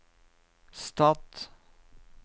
stat